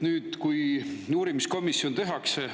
Nüüd, kui uurimiskomisjon tehakse …